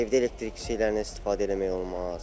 Evdə elektrik şeylərindən istifadə eləmək olmaz.